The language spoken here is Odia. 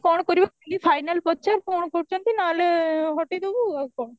କଣ କରିବ କାଲି final ପଚାରେ କଣ କରୁଚନ୍ତି ନହେଲେ ହଟେଇଦବୁ ଆଉ କଣ